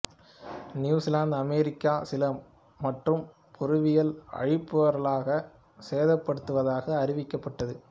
New Zealand America Chile மற்றும் பெருவில் ஆழிப்பேரலைகள் சேதப்படுத்துவதாக அறிவிக்கப்பட்டது